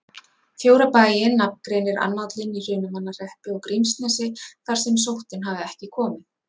Fjóra bæi nafngreinir annállinn í Hrunamannahreppi og Grímsnesi þar sem sóttin hafi ekki komið.